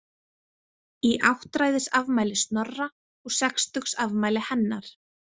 Í áttræðisafmæli Snorra og sextugsafmæli hennar.